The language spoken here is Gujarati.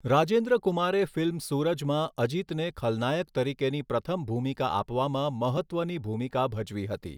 રાજેન્દ્ર કુમારે ફિલ્મ સુરજમાં અજિતને ખલનાયક તરીકેની પ્રથમ ભૂમિકા આપવામાં મહત્ત્વની ભૂમિકા ભજવી હતી.